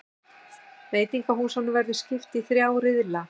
Veitingahúsunum verður skipt í þrjá riðla